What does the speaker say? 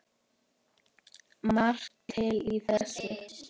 Margt til í þessu.